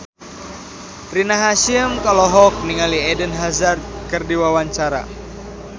Rina Hasyim olohok ningali Eden Hazard keur diwawancara